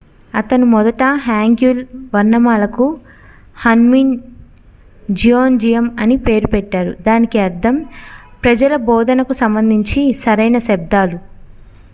"అతను మొదట hangeul వర్ణమాలకు hunmin jeongeum అని పేరు పెట్టారు దానికి అర్ధం "ప్రజల బోధనకు సంబంధించి సరైన శబ్దాలు"".